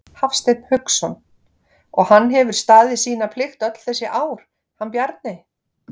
Hafsteinn Hauksson: Og hann hefur staðið sína plikt öll þessi ár, hann Bjarni?